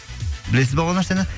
білесіз ба ол нәрсені